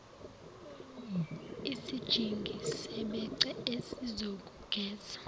isijingi sebhece esizokugeza